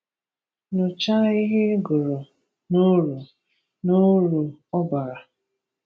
Nyochaa ihe ị gụrụ na uru na uru ọ bara.